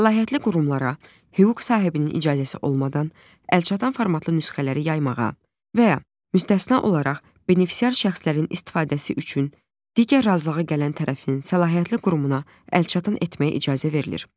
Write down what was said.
Səlahiyyətli qurumlara hüquq sahibinin icazəsi olmadan əlçatan formatlı nüsxələri yaymağa və ya müstəsna olaraq benefisiar şəxslərin istifadəsi üçün digər razılığa gələn tərəfin səlahiyyətli qurumuna əlçatan etməyə icazə verilir.